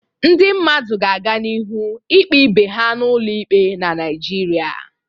Ndị mmadụ ga aganihu ikpe ibe ha n'ụlọ ikpe na Naịjirịa.